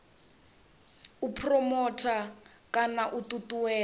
u phuromotha kana u ṱuṱuwedza